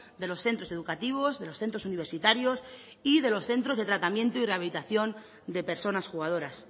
de los centros educativos de los centros universitarios y de los centros de tratamiento y rehabilitación de personas jugadoras